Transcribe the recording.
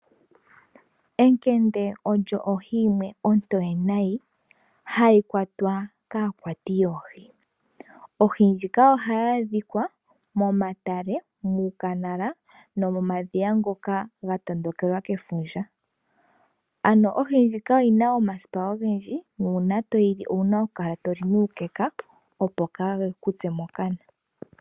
Ekende oyo ohi yimwe ombwaanawa, ohayi kwatwa kaakwati yoohi. Oohi ndhika ohadhi adhika momilonga osho wo momadhiya. Oohi ndhika odhi na omasipa ogendji, ngele toyi li owuna okulya nuukeka opo waatsuwe mokana.